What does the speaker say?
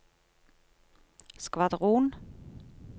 skvadron